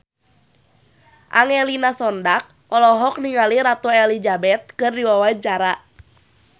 Angelina Sondakh olohok ningali Ratu Elizabeth keur diwawancara